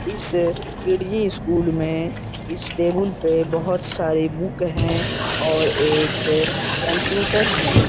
इस किडजी स्कूल में इस टेबुल पे बहुत सारी बुक है और एक कंप्यूटर है।